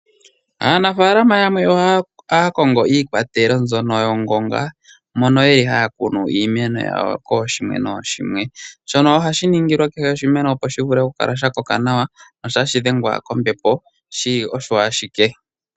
Aanafaalama yamwe ohaya kongo iikwatelo mbyono yongonga mono ye li haya kunu iimeno yawo kooshimwe nooshimwe. Shono ohashi ningilwa kehe oshimemo opo shi kale ya koka nawa sho tashi dhengwa kombepo shi li osho ashike.